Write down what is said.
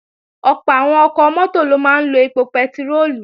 Ọ̀pọ̀ àwọn ọkọ̀ mọ́tò ló máa ń lo èpò pẹtiróòlù